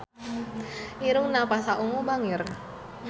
Irungna Pasha Ungu bangir